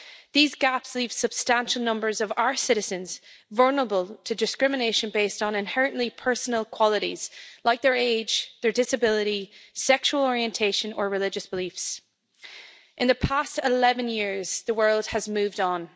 These gaps leave substantial numbers of our citizens vulnerable to discrimination based on inherently personal qualities like their age, their disability, sexual orientation or religious beliefs. In the past 11 years, the world has moved on.